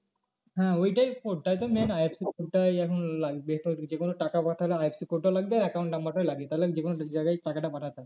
হ্যাঁ ওটাই, ওইটাই তো main IFSC code টাই এখন লাগবে যে কোনো টাকা পাঠালে IFSC code টাও লাগে account number টা লাগে তাহলে যে কোনো জায়গায় টাকাটা পাঠাতে হয়